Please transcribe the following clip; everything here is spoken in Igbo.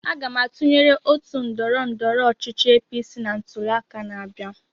Aga m atụnyere otu ndọrọndọrọ ọchịchị APC na ntuliaka na-abịa.